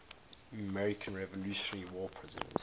american revolutionary war prisoners